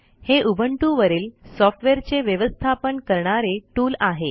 हे उबुंटू वरील सॉफ्टवेअरचे व्यवस्थापन करणारे टूल आहे